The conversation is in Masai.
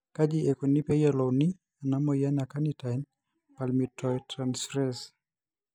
Kaji ikoni pee eyiolouni ena moyian e carnitine palmitoyltransferase